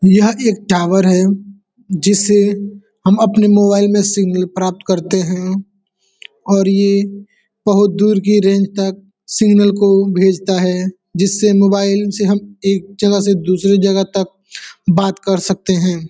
यह एक टावर है जिससे हम अपने मोबाइल में सिंगल प्राप्त करते हैं और यह बोहोत दूर की रेंज तक सिग्नल को भेजता जिसमे मोबाईल से हम एक जगह से दूसरी जगह तक बात करते हैं।